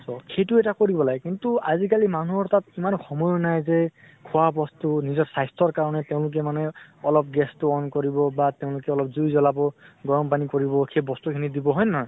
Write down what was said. তʼ সেইটো এটা কৰিব লাগে । কিন্তু আজি কালি মানুহৰ তাত ইমান সময়ো নাই যে খোৱা বস্তু নিজৰ শ্বাস্থৰ কাৰণে তেওঁলোকে মানে অলপ gas টো on কৰিব, বা তেওঁলোকে অলপ জুই জ্ব্লাব, গৰম পানী কৰিব। সেই বস্তু খিনি দিব হয় নে নহয়?